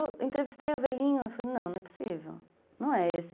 E eu entrevistei o velhinho e falei, não, não é possível, não é esse.